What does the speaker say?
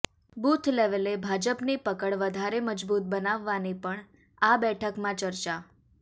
booth લેવલે ભાજપની પકડ વધારે મજબૂત બનાવવાની પણ અા બેઠકમાં ચર્ચા